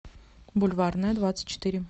бульварная двадцать четыре